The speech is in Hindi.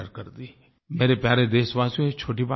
मेरे प्यारे देशवासियो ये छोटी बात नहीं है